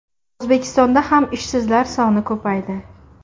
O‘zbekistonda ham ishsizlar soni ko‘paydi.